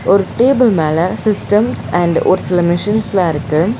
ஒரு டேபிள் மேல systems and ஒரு சில மிஷின்ஸ்லா இருக்கு.